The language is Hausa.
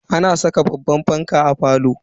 Ana saka babban fanka a falo.